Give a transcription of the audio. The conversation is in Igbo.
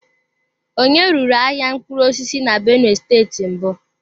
Onye ruru ahịa mkpụrụ osisi na benue steeti mbụ?